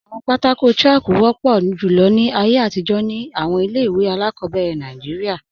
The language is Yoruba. Awọn pátákò chalku wọpọ julọ ni ayé atijọ̀ ni awọn ilẹ̀-iwe aláàkọbẹ̀rẹ̀ Nàìjíríà.